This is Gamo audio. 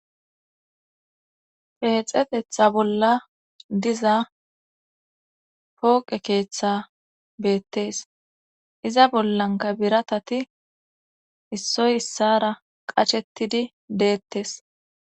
peexetetha bolla diza pooqe keeththa beettes iza bollanka biratati issoy issara qachettidi deettes